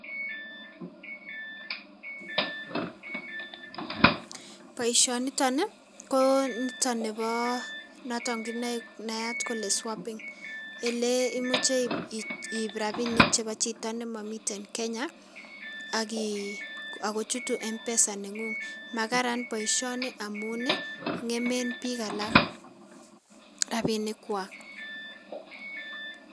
Boishaan nitoon ko notoon ne nayaat kole [swapping] ele imuche ii rapisheek en chitoo ne mamii [Kenya] ako chutuu [mpesa] nengung magaraan boisioni amuun ii ngemeen biik alaak rapinik kwaak